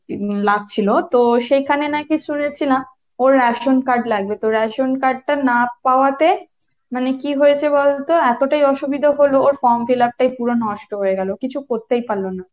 লাগছিলো, তো সেখানে নাকি শুনেছিলাম ওর ration card লাগবে, তো ration card তা না পাওয়াতে মানে কি হয়েছে বলতো, এতোটাই অসুবিধা হলো ওর from fill-up টাই পুরা নষ্ট হয়ে গেলো। কিছু করতেই পারল না।